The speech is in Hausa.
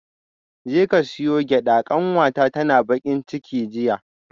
Jeka siyo gyada kanwata tana bakin ciki jiya